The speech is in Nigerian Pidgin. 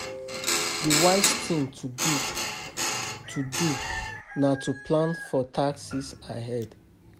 Di wise thing to do to do na to plan for taxes ahead